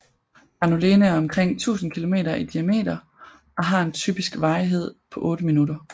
Granulene er omkring 1000 km i diameter og har en typisk varighed på 8 minutter